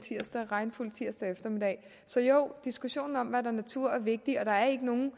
regnfuld tirsdag eftermiddag så jo diskussionen om hvad der er natur er vigtig og der er ikke nogen